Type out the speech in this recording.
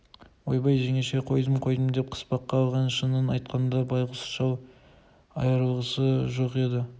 ойбай жеңешетай қойдым қойдым деп қыспаққа алған шынын айтқанда байғұс шал айрылғысы жоқ еді